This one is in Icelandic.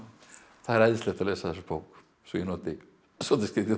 það er æðislegt að lesa þessa bók svo ég noti skrýtið orð